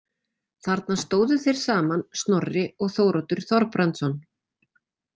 Þarna stóðu þeir saman Snorri og Þóroddur Þorbrandsson.